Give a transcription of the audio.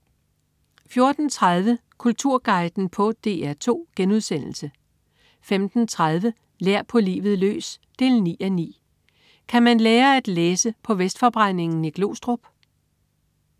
14.30 Kulturguiden på DR2* 15.30 Lær på livet løs 9:9. Kan man lære at læse på Vestforbrændingen i Glostrup?